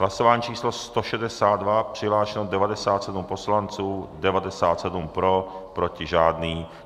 Hlasování číslo 162, přihlášeno 97 poslanců, 97 pro, proti žádný.